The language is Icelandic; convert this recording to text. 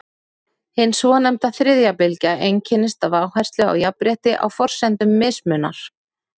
hin svonefnda „þriðja bylgja“ einkennist af áherslu á jafnrétti á forsendum mismunar